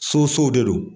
Sosow de don